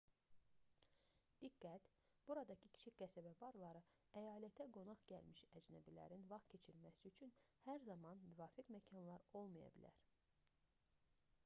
diqqət buradakı kiçik qəsəbə barları əyalətə qonaq gəlmiş əcnəbilərin vaxt keçirməsi üçün hər zaman müvafiq məkanlar olmaya bilər